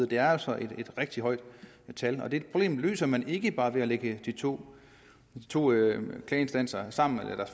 det er altså et rigtig højt tal og det problem løser man ikke bare ved at lægge de to klageinstanser sammen eller